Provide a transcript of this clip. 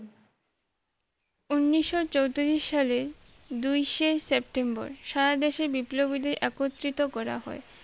উনিশ চোতিরিশ সালে দুইসে সেপ্টেম্বর সারা দেশে বিপ্লবীদের একত্রিত করা হয়